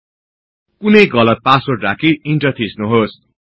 कुनै गलत पासवर्ड राखी ईन्टर थिच्नुहोस